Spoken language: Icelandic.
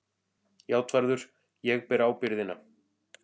JÁTVARÐUR: Ég ber ábyrgðina.